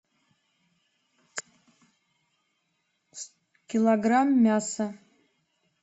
килограмм мяса